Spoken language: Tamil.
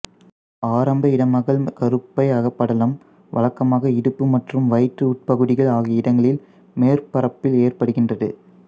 ஆரம்ப இடமகல் கருப்பை அகப்படலம் வழக்கமாக இடுப்பு மற்றும் வயிற்று உட்பகுதிகள் ஆகிய இடங்களில் மேற்பரப்பில் ஏற்படுகின்றது